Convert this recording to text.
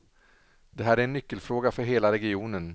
Det här är en nyckelfråga för hela regionen.